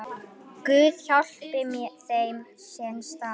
Guð, hjálpi þeim, sem stal!